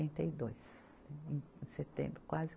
e dois. Em setembro quase.